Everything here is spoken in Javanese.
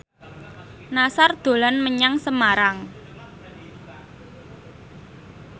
Nassar dolan menyang Semarang